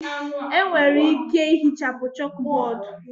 Enwere ike ihichapụ chọkbọọdu.